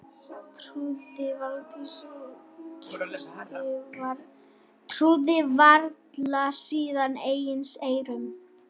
Trúði varla sínum eigin eyrum.